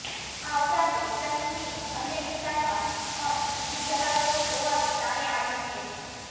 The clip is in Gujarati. આ ઉપરાંતે સન્ની સિંહ અન્ય વિસ્તારમાં પણ પીજી ચલાવતો હોવાનું સામે આવ્યુ છે